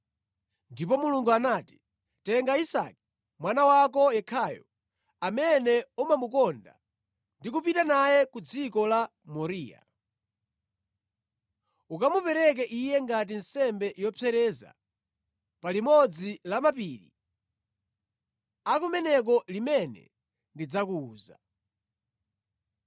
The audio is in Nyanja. Ndipo Mulungu anati, “Tenga Isake, mwana wako yekhayo amene umamukonda ndi kupita naye ku dziko la Moriya. Ukamupereke iye ngati nsembe yopsereza pa limodzi la mapiri a kumeneko limene ndidzakuwuza.”